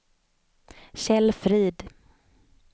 Kjell Frid